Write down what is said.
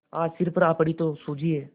आज सिर पर आ पड़ी तो सूझी